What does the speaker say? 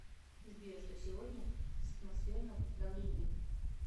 сбер что сегодня с атмосферным давлением